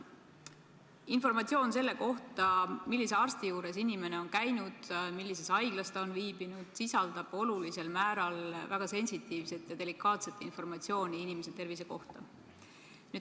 Informatsioon selle kohta, millise arsti juures inimene on käinud, millises haiglas ta on viibinud, sisaldab olulisel määral väga sensitiivset ja delikaatset informatsiooni inimese tervise kohta.